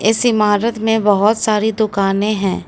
इस इमारत में बहोत सारी दुकाने हैं।